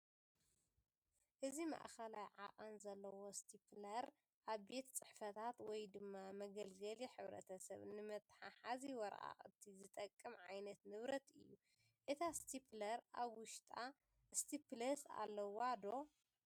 እዚ ማእከላይ ዓቀን ዘለዎ ስቴፕለር ኣብ ቤት ፅሕፈታት ወይ ድማ መገልገሊ ሕብረተሰብ ንመተሓሓዚ ወረቃቅቲ ዝጠቅም ዓይነት ንብረት እዩ፡፡ እታ ስቴፕለር ኣብ ውሽጣ ስቴፕልስ ኣለዋ ዶ?